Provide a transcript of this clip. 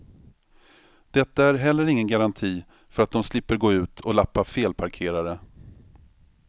Detta är heller ingen garanti för att de slipper gå ut och lappa felparkerare.